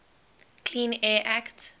clean air act